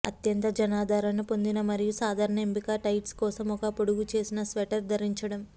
అత్యంత జనాదరణ పొందిన మరియు సాధారణ ఎంపిక టైట్స్ కోసం ఒక పొడుగుచేసిన స్వెటర్ ధరించడం